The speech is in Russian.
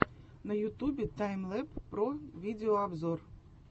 на ютубе таймлэб про видеообзор